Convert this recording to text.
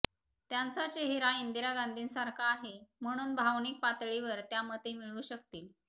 त्यांचा चेहरा इंदिरा गांधींसारखा आहे म्हणून भावनिक पातळीवर त्या मते मिळवू शकतील